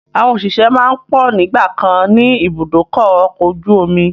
Àwọn òṣìṣẹ́ máa ń pọ̀ nígbàkan ni ibùdókọ̀ ọkọ̀ ojú omi